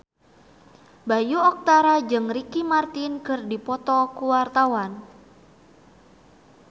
Bayu Octara jeung Ricky Martin keur dipoto ku wartawan